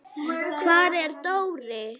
Hvar er Dóri?